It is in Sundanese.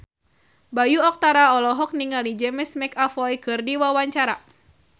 Bayu Octara olohok ningali James McAvoy keur diwawancara